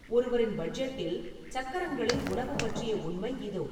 ஒருவரின் பட்ஜெட்டில் சக்கரங்களில் உணவு பற்றிய உண்மை இதோ